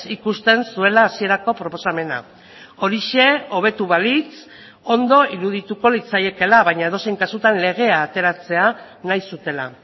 ikusten zuela hasierako proposamena horixe hobetu balitz ondo irudituko litzaiekeela baina edozein kasutan legea ateratzea nahi zutela